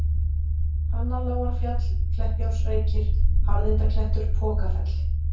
Fannalágarfjall, Kleppjárnsreykir, Harðindaklettur, Pokafell